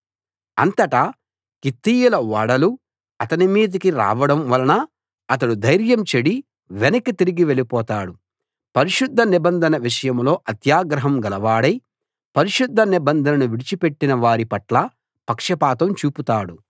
అంతట కిత్తీయుల ఓడలు అతని మీదికి రావడం వలన అతడు ధైర్యం చెడి వెనక్కి తిరిగి వెళ్ళిపోతాడు పరిశుద్ధ నిబంధన విషయంలో అత్యాగ్రహం గలవాడై పరిశుద్ధ నిబంధనను విడిచి పెట్టిన వారి పట్ల పక్షపాతం చూపుతాడు